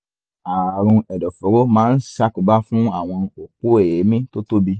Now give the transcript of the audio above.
ààrùn ẹ̀dọ̀fóró máa ń ń ṣàkóbá fún àwọn òpó èémí tó tóbi